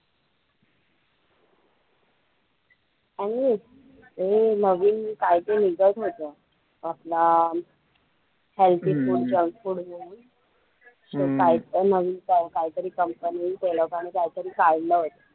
आणि हे नवीन काय ते निघत होतं आपलं अं healthy food junk food म्हणून so काय काय तरी company ते लोकांनी काहीतरी काढलं होतं.